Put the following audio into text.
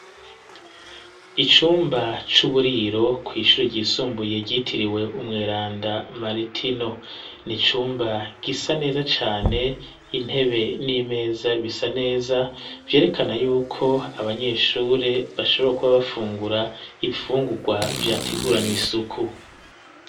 Icumba ,c'uburiro ,kw ishuri ry'isumbu ye ryitiriwe umweranda maritino ,nicumba gisa neza cane, intebe n'imeza bisa neza vyerekana yuko abanyeshuri bashobora kuba bafungura ,ibifungurwa vyategurany'isuku.